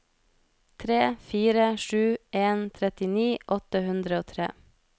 tre fire sju en trettini åtte hundre og tre